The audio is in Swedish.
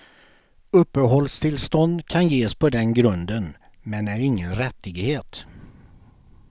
Uppehållstillstånd kan ges på den grunden, men är ingen rättighet.